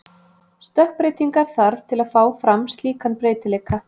Stökkbreytingar þarf til að fá fram slíkan breytileika.